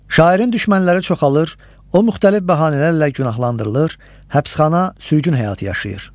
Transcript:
Şairin düşmənləri çoxalır, o müxtəlif bəhanələrlə günahlandırılır, həbsxana, sürgün həyatı yaşayır.